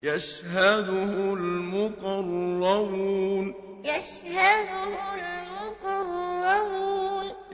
يَشْهَدُهُ الْمُقَرَّبُونَ يَشْهَدُهُ الْمُقَرَّبُونَ